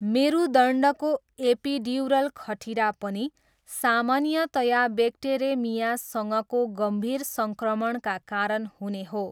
मेरुदण्डको epidural खटिरा पनि सामान्यतया ब्याक्टेरेमियासँगको गम्भीर सङ्क्रमणका कारण हुने हो।